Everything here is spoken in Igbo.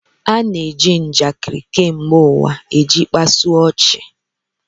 A na-eji njakịrị kemgbe ụwa iji kpasu ọchị